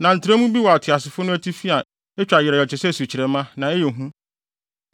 Na ntrɛwmu bi wɔ ateasefo no atifi a etwa yerɛw yerɛw te sɛ sukyerɛmma, na ɛyɛ hu.